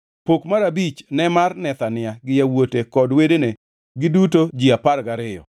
Pok mar abich ne mar Nethania gi yawuote kod wedene, giduto ji apar gariyo,